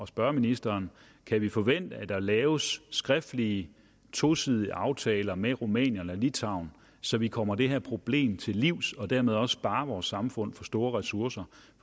spørge ministeren kan vi forvente at der laves skriftlige tosidige aftaler med rumænien og litauen så vi kommer det her problem til livs og dermed også sparer vores samfund for store ressourcer